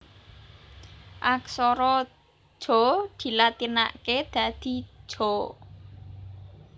Aksara Ja dilatinaké dadi Ja